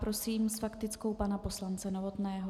Prosím s faktickou pana poslance Novotného.